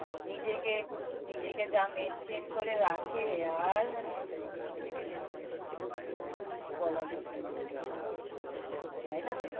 নিজেকে নিজেকে যা maintain করে রাখে আর মানে কি বলব কিছু বলার মতন নেই। তাই না?